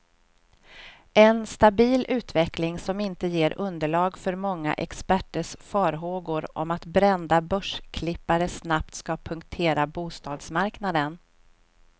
En stabil utveckling, som inte ger underlag för många experters farhågor om att brända börsklippare snabbt ska punktera bostadsmarknaden.